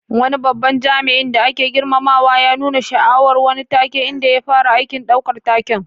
Wani babban jami'in da ake girmamawa ya nuna sha'awar wani take, inda ya fara aikin ɗaukar taken.